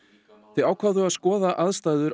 þau ákváðu að skoða aðstæður